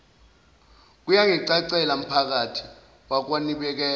kuyangicacela mphakathi wakwanibela